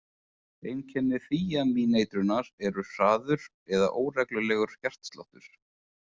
Einkenni þíamíneitrunar eru hraður eða óreglulegur hjartsláttur.